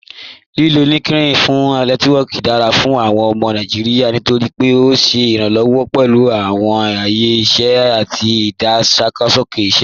Lílò LinkedIn fún Nẹtiwọọki dára fún awọn ọmọ Nàìjíríà nítorí pé ó ṣé iranlọwọ pẹ̀lú awọn ayé iṣẹ àti ìdágbàsókè iṣẹ.